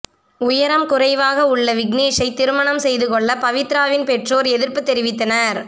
உயரம் குறைவாக உள்ள விக்னேஷைத் திருமணம் செய்துகொள்ள பவித்ராவின் பெற்றோர் எதிர்ப்பு தெரிவித்தனர்